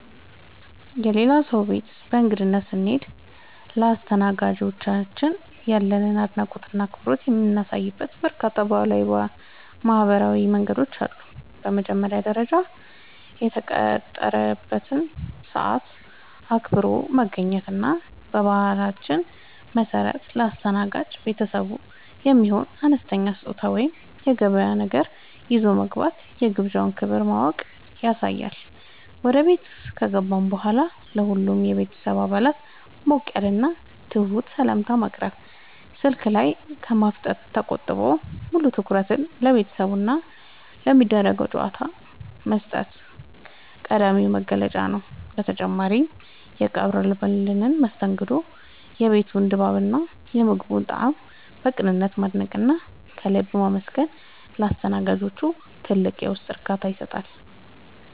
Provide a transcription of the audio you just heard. የሌላ ሰው ቤት በእንግድነት ስንሄድ ለአስተናጋጆቻችን ያለንን አድናቆትና አክብሮት የምናሳይባቸው በርካታ ባህላዊና ማኅበራዊ መንገዶች አሉ። በመጀመሪያ ደረጃ፣ የተቀጠረበትን ሰዓት አክብሮ መገኘት እና በባህላችን መሠረት ለአስተናጋጅ ቤተሰቡ የሚሆን አነስተኛ ስጦታ ወይም የገበያ ነገር ይዞ መግባት የግብዣውን ክብር ማወቅን ያሳያል። ወደ ቤት ከገባን በኋላም ለሁሉም የቤተሰብ አባላት ሞቅ ያለና ትሑት ሰላምታ ማቅረብ፣ ስልክ ላይ ከማፍጠጥ ተቆጥቦ ሙሉ ትኩረትን ለቤተሰቡና ለሚደረገው ጨዋታ መስጠት ቀዳሚው መገለጫ ነው። በተጨማሪም፣ የቀረበልንን መስተንግዶ፣ የቤቱን ድባብና የምግቡን ጣዕም በቅንነት ማድነቅና ከልብ ማመስገን ለአስተናጋጆቹ ትልቅ የውስጥ እርካታን ይሰጣል።